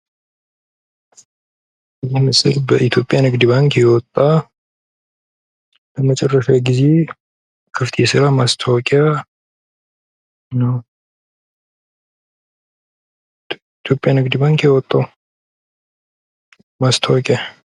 ይህ ምስል በኢትዮጵያ ንግድ ባንክ የወጣ ለመጨረሻ ጊዜ ክፍት የስራ ማስታወቂያ ነው። ኢትዮጵያ ንግድ ባንክ ያወጣው ማስታወቂያ።